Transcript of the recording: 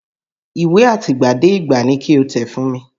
Ìwé àtìgbàdégbà ni ki o tẹ̀ fún mi!